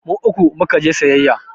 Mu uku mu ka je sayayya.